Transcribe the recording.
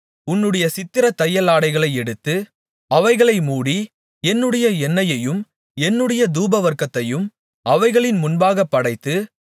உன்னுடைய சித்திரத்தையலாடைகளை எடுத்து அவைகளை மூடி என்னுடைய எண்ணெயையும் என்னுடைய தூபவர்க்கத்தையும் அவைகளின் முன்பாக படைத்து